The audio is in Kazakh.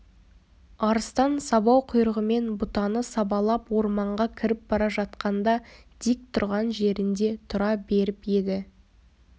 арыстан сабау құйрығымен бұтаны сабалап орманға кіріп бара жатқанда дик тұрған жерінде тұра беріп еді